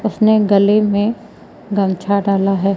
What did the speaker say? उसने गले में गमछा डाला है।